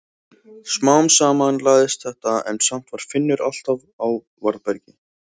Smám saman lagaðist þetta en samt var Finnur alltaf á varðbergi.